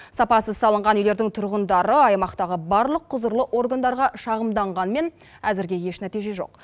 сапасыз салынған үйлердің тұрғындары аймақтағы барлық құзырлы органдарға шағымданғанмен әзірге еш нәтиже жоқ